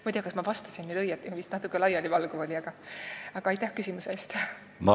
Ma ei tea, kas ma vastasin teile, eks vist natuke laialivalguv oli, aga aitäh küsimuse eest!